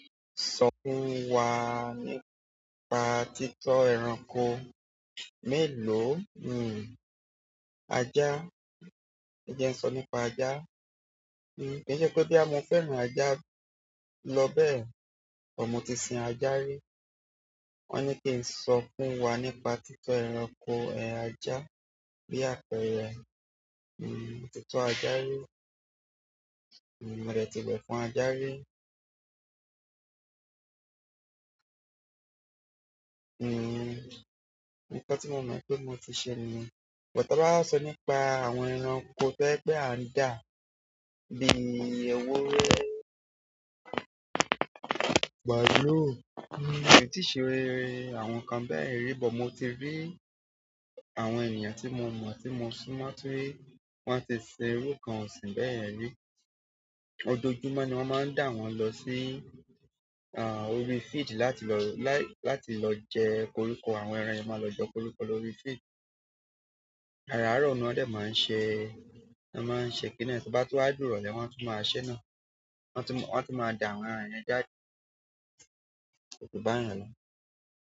Sọ fún wa nípa títọ́ ẹranko mélòó? Ajá. E jẹ́ ń sọ nípa ajá? Ko n se pe boya mo fẹ́ràn aja, lo bẹ́ẹ̀ but mo ti sin aja ri. Won ni ki n so funwa nípa tito ẹranko, aja bi àpẹẹrẹ. Mo ti tọ́ ajá rí. Mo dẹ̀ tíwẹ̀ fún ajá rí. Nkan tí mo mọ̀ pé mo ti ṣe ni. But tán bá wa sọ nípa àwọn ẹranko to jẹ pẹ́ a ń dà bí èwúrẹ́, maalú, mí tí ṣe, àwọn kan bẹ́ẹ̀ rí i, bó mo ti rí àwọn èyàn tí mo mọ̀, tí mo súnmọ́ tí, wọ́n á ti ṣé irú kan ọ̀sìn bẹ́ẹ̀ rí. Ọjojúmọ́ ni wọ́n máa ń dà wọ́n lọ sí, orí field láti lọ, láti lọ jẹ koríko. Àwọn ẹran yẹn máa lọ jẹ koríko lórí feed. Àrárọ̀ ni wọ́n dẹ̀ máa ń ṣe, lo máa ń ṣe kí ni yen to bá tú wá di irólẹ́ wà tú máa ṣẹ́ náà. Wọ́n á tú máa dà àwọn ẹran yẹn jáde. Òjò bá ń ràn lọ.